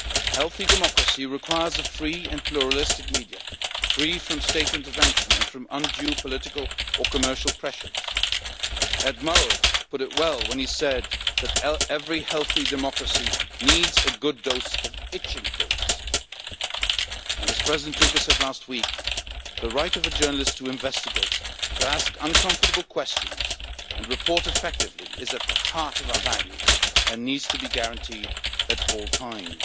Healthy democracy requires a free and pluralistic media, free from state intervention and from undue political or commercial pressures. Ed Murrow put it well when he said that every healthy democracy needs a good dose of itching pills, and as President Juncker said last week, the right of a journalist to investigate, to ask uncomfortable questions and report effectively is at the heart of our values and needs to be guaranteed at all times.